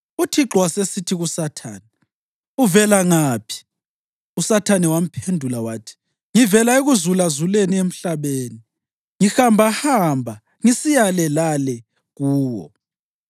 UThixo wasesithi kuSathane, “Uvela ngaphi?” USathane wamphendula wathi, “Ngivela ekuzulazuleni emhlabeni, ngihambahamba ngisiya le lale kuwo.”